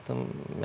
Dünən baxdım.